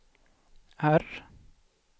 R